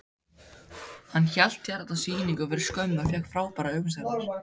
Hann hélt hérna sýningu fyrir skömmu og fékk frábærar umsagnir.